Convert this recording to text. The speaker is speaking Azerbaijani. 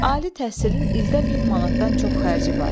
Ali təhsilin ildə 1000 manatdan çox xərci var.